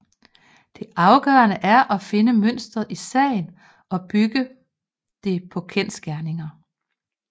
Det afgørende er at finde mønsteret i sagen og bygge det på kendsgerninger